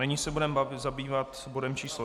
Nyní se budeme zabývat bodem číslo